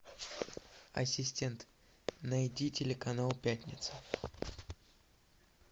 ассистент найди телеканал пятница